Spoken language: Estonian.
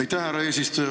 Aitäh, härra eesistuja!